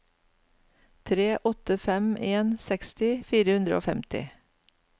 tre åtte fem en seksti fire hundre og femti